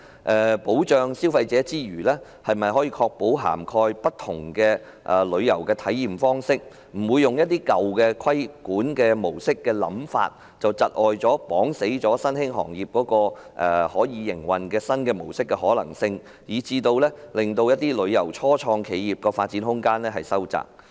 在保障消費者之餘，是否可確保涵蓋不同的旅遊體驗方式，不會讓規管模式的舊有想法，窒礙新興行業採用營運新模式的可能性，以致一些初創旅遊企業的發展空間收窄？